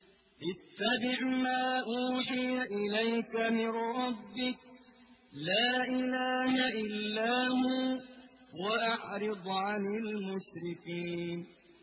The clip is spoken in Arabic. اتَّبِعْ مَا أُوحِيَ إِلَيْكَ مِن رَّبِّكَ ۖ لَا إِلَٰهَ إِلَّا هُوَ ۖ وَأَعْرِضْ عَنِ الْمُشْرِكِينَ